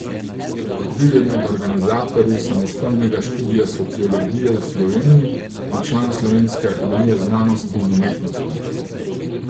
Bil je med organizatorji samostojnega študija sociologije v Sloveniji in član Slovenske akademije znanosti in umetnosti.